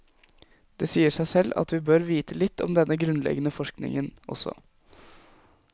Det sier seg selv at vi bør vite litt om denne grunnleggende forskningen også.